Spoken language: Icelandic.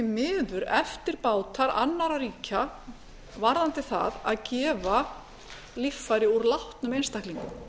miður eftirbátar annarra ríkja varðandi það að gefa líffæri úr látnum einstaklingum